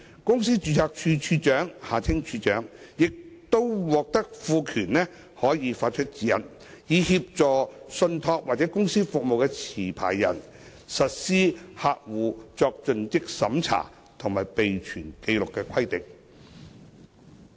公司註冊處處長亦將獲賦權可發出指引，以協助信託或公司服務持牌人實施客戶作盡職審查及備存紀錄的規定。